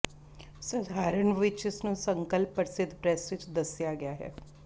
ਸਧਾਰਨ ਰੂਪ ਵਿੱਚ ਇਸ ਨੂੰ ਸੰਕਲਪ ਪ੍ਰਸਿੱਧ ਪ੍ਰੈਸ ਵਿੱਚ ਦੱਸਿਆ ਗਿਆ ਹੈ